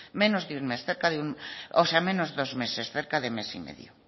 menos de dos meses cerca de mes y medio